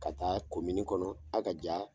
Ka taa kɔnɔ ha ka ja